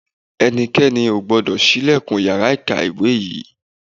Ẹnikẹ́ni ò gbọ́dọ̀ ṣílẹ̀kùn yàrá ìkàwé yẹn